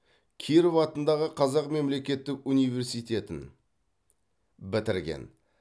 киров атындағы қазақ мемлекеттік университетін бітірген